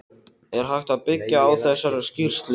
Er hægt að byggja á þessari skýrslu?